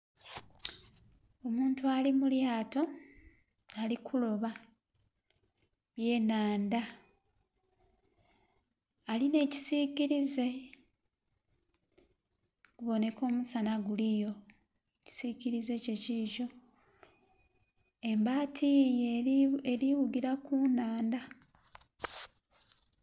Omuntu ali mu lyato alikuloba eby'enhandha alina ekisikirize kubooneka omusana guliyo ekisikirize kye kikyo embaati yiiyo eri wugira ku nnhandha.